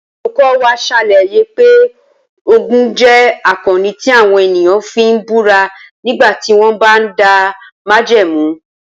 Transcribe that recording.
Olùkọ́ wa ṣàlàyé pé Ògún jẹ́ akọni tí àwọn ènìyàn fi ń búra nígbà tí wọ́n bá ń dá májẹ̀mú